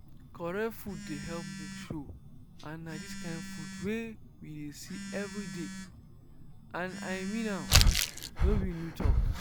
correct food dey help milk show and na the kind food wey we dey see every day and i mean am no be new talk.